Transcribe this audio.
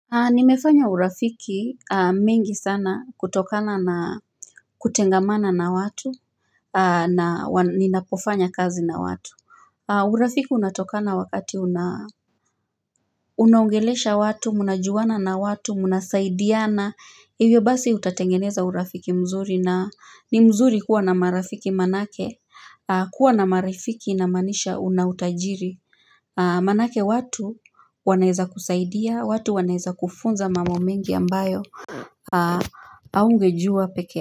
Nimefanya urafiki mengi sana kutokana na kutengamana na watu na ninapofanya kazi na watu au urafiki unatokana wakati unaongelesha watu, unajuana na watu, unasaidiana Hivyo basi utatengeneza urafiki mzuri na ni mzuri kuwa na marafiki manake kuwa na marafiki inamanisha unautajiri Manake watu wanaeza kusaidia, watu wanaeza kufunza mambomengi ambayo Aungejua pekee.